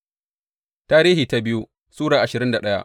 biyu Tarihi Sura ashirin da daya